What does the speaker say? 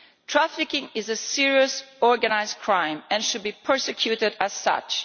Trafficking is a serious organised crime and should be prosecuted as such.